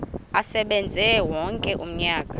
asebenze wonke umnyaka